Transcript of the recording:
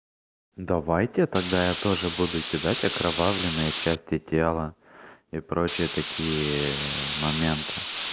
давайте тогда я тоже буду кидать окровавленные части тела и прочие такие моменты